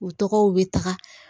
U tɔgɔw bɛ taga